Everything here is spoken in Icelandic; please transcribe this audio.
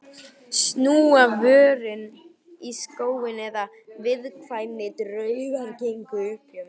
Snúa vörn í sókn, eina viðkvæðið sem dugar gegn uppgjöfinni.